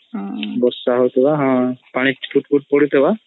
ବର୍ଷା ହଉଥିବ ପାଣି ଠୁପ୍ ଠୁପ୍ ପଡୁଥିବ